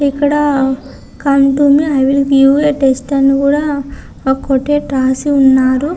ఇక్కడ ఒక ఆంట్ ఉంది యూ.ఏ. టెస్ట్ అని కూడా ఒక కోటేట్ రాసి ఉన్నారు.